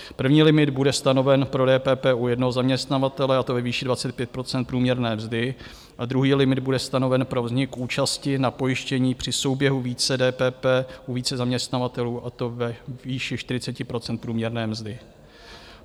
První limit bude stanoven pro DPP u jednoho zaměstnavatele, a to ve výši 25 % průměrné mzdy, a druhý limit bude stanoven pro vznik účasti na pojištění při souběhu více DPP u více zaměstnavatelů, a to ve výši 40 % průměrné mzdy.